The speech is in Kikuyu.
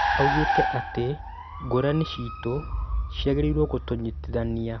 Augĩte atĩ ngũrani ciito ciagĩrĩirũo gũtũnyitithania